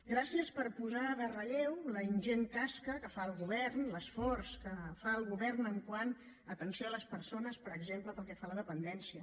gràcies per posar en relleu la ingent tasca que fa el govern l’esforç que fa el govern quant a atenció a les persones per exemple pel que fa a la dependència